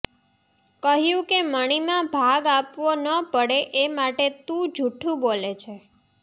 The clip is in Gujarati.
કહ્યું કે મણિમાં ભાગ આપવો ન પડે એ માટે તું જૂઠું બોલે છે